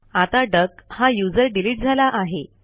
आता डक हा user delete झाला आहे